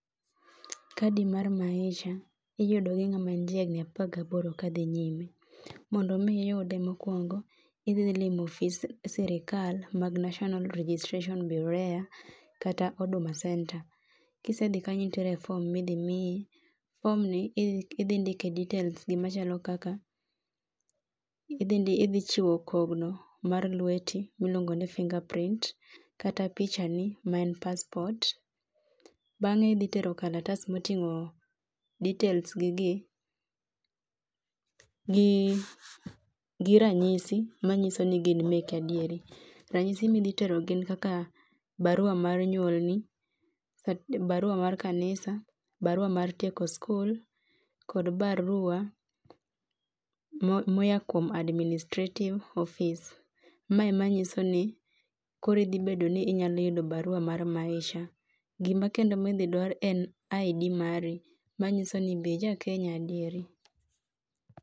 Kadi mar Maisha iyudo gi ngama ni jahigni apar gaboro kadhi nyime. Mondo mi iyude mokuongo idhi limo ofi sirkal mag National Registration Bureau kata Huduma Centre. Kisedhi kanyo nitiere form midhi miyi, form ni idhi ndike details gi machalo kaka ,idhi chiwo kogno mar lweti miluongo ni fingerprint kata pichani maen passport, bende idhi tero kalatas motingo details gigi ,gi ranyisi manyiso ni gin meki adieri. Ranyisi midhi tero gin kaka barua mar nyuol ni, barua mar kanisa, barua mar tieko skul kod barua moya kuom administrative ofis, mae ema nyisoni koro idhi bedoni inya yud barua mar Maisa, gima kendo idhi dwar en ID mari manyisoni be ija Kenya adieri